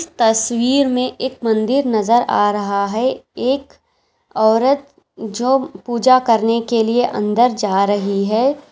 तस्वीर में एक मंदिर नज़र आ रहा है एक औरत जो पुजा करने के लिए अंदर जा रही है।